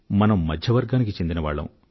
మనం మధ్యవర్గానికి చెందినవాళ్ళం